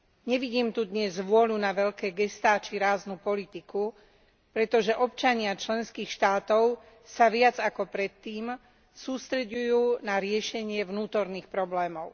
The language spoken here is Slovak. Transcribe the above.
Nevidím tu dnes vôľu na veľké gestá či ráznu politiku, pretože občania členských štátov sa viac ako predtým sústreďujú na riešenie vnútorných problémov.